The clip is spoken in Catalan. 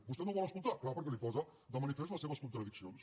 vostè no ho vol escoltar és clar perquè li posa de manifest les seves contradiccions